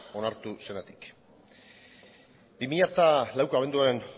onartu zenetik bi mila laueko abenduaren